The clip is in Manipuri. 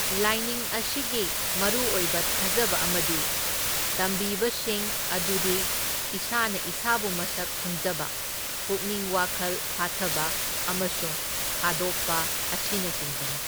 ꯂꯥꯏꯅꯤꯡ ꯑꯁꯤꯒꯤ ꯃꯔꯨ ꯑꯣꯏꯕ ꯊꯥꯖꯕ ꯑꯃꯗꯤ ꯇꯝꯕꯤꯕꯁꯤꯡ ꯑꯗꯨꯗꯤ ꯏꯁꯥꯅ ꯏꯁꯥꯕꯨ ꯃꯁꯛ ꯈꯪꯖꯕ, ꯄꯨꯛꯅꯤꯡ ꯋꯥꯈꯜ ꯐꯥꯊꯕ ꯑꯃꯁꯨꯡ ꯊꯥꯗꯣꯛꯄ ꯑꯁꯤꯅꯆꯤꯡꯕꯅꯤ꯫